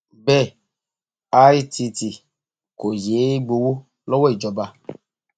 bẹẹ itt kò yéé gbowó lọwọ ìjọba